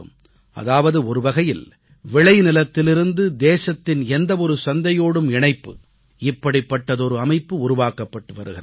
அதாவது ஒருவகையில் விளைநிலத்திலிருந்து தேசத்தின் எந்த ஒரு சந்தையோடும் இணைப்பு இப்படிப்பட்ட அமைப்பு உருவாக்கப்பட்டு வருகிறது